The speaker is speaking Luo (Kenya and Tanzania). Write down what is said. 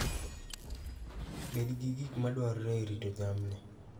Bed gi gik ma dwarore e rito jamni.